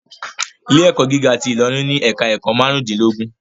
Ilé ẹ̀kọ́ gíga ti Ilorin ni ẹ̀ka ẹ̀kọ́ márùn dín lógún